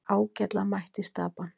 Ágætlega mætt í Stapann